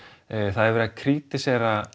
það er verið að